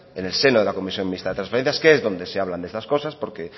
en el seno de la comisión mixta de transferencias que es donde se hablan de estas cosas porque